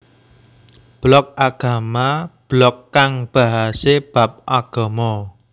Blog Agama Blog kang bahasé bab agama